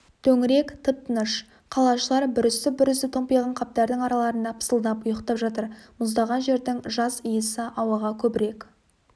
төңірек тып-тыныш қалашылар бүрісіп-бүрісіп томпиған қаптардың араларында пысылдап ұйықтап жатыр мұздаған жердің жас иісі ауаға көбірек